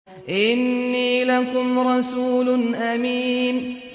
إِنِّي لَكُمْ رَسُولٌ أَمِينٌ